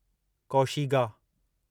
कौशीगा